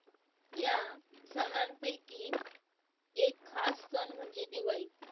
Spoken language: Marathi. या सणांपैकी एक खास सण म्हणजे दिवाळी.